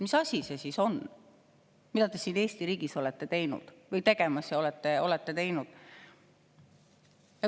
Mis asi see siis on, mida te siin Eesti riigis olete tegemas ja olete teinud?